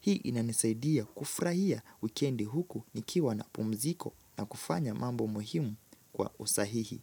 Hii inanisaidia kufurahia wikendi huku nikiwa na pumziko na kufanya mambo muhimu kwa usahihi.